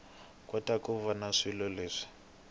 kota ku vona swilo leswi